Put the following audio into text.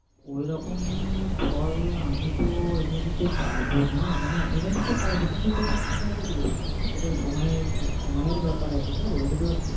ওইরকেম ফল আমিতো এনে দিতে পারব না। মানে এনে দিতে পারব কিন্তু সময় লেগে যাবে তো। সময়ের ব্যাপার আছে তো